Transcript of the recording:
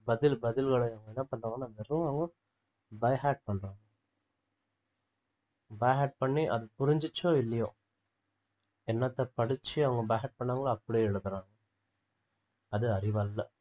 பதில் பதில் என்ன பண்றாங்கன்னா வெறும் byheart பண்ணறாங்க byheart பண்ணி அது புரிஞ்சுச்சோ இல்லையோ என்னத்தை படிச்சு அவங்க byheart பண்ணாங்களோ அப்படியே எழுதுறாங்க அது அறிவு அல்ல